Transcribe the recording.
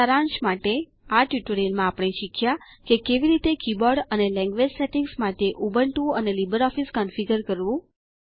સારાંશ માટે આ ટ્યુટોરીયલમાં આપણે શીખ્યા કે કેવી રીતે કીબોર્ડ અને લેંગવેજ સેટીંગ્સ માટે ઉબુન્ટૂ અને લીબર ઓફીસ કોન્ફીગર કરવું